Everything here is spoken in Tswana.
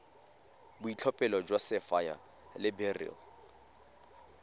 boitlhophelo jwa sapphire le beryl